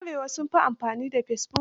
yan Arewa sun fi amfani da fesibuk.